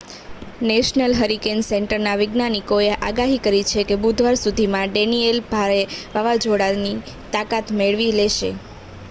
national hurricane સેન્ટરના વૈજ્ઞાનિકોએ આગાહી કરી છે કે બુધવાર સુધીમાં ડેનિયેલ ભારે વાવાઝોડાની તાકાત મેળવી લેશે